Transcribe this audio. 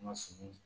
Ma sigi